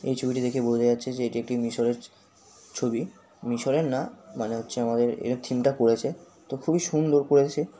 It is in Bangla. এই ছবিটি দেখে বোঝা যাচ্ছে যে এটি একটি মিশরের ছ ছবি। মিশরের না মানে হচ্ছে আমাদের এরা থিম টা করেছে তো খুবই সুন্দর করেছে।